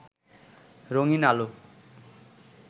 রঙিন্ আলো